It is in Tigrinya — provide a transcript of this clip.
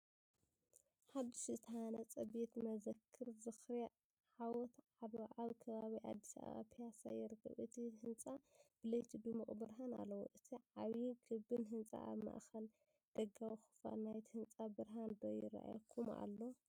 ሓድሽ ዝተሃንጸ ቤተ መዘክር ዝኽሪ ዓወት ዓድዋ ኣብ ከባቢ ኣዲስ ኣበባ ፒያዛ ይርከብ። እቲ ህንጻ ብለይቲ ድሙቕ ብርሃን ኣለዎ። እቲ ዓቢን ክቢን ህንጻ ኣብ ማእከል ደጋዊ ክፋል ናይቲ ህንጻ ብርሃን ዶ ይራኣየኩም ኣሎ?